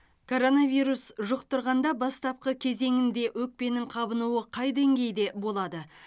коронавирус жұқтырғанда бастапқы кезеңінде өкпенің қабынуы қай деңгейде болады